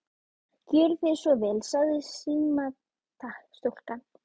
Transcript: Gjörið þið svo vel, sagði símastúlkan.